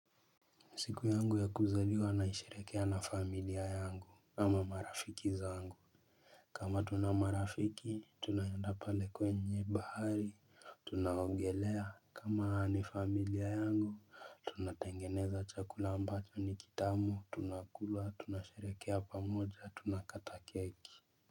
Siku yangu ya kuzaliwa naisherehekea na familia yangu ama marafiki zangu kama tuna marafiki tunaenda pale kwenye bahari. Tunaogelea. Kama ni familia yangu tunatengeneza chakula ambacho ni kitamu. Tunakulua. Tunasherehekea pamoja. Tunakata keki.